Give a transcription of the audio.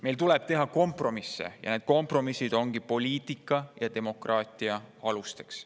Meil tuleb teha kompromisse ja need kompromissid ongi poliitika ja demokraatia alusteks.